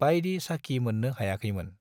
बायदि साखी मोन्नो हायाखैमोन।